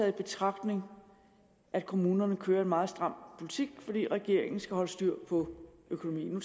i betragtning at kommunerne kører en meget stram politik fordi regeringen skal holde styr på økonomien nu